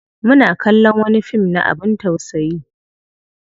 Muna kallon wani fim na abin tausayi.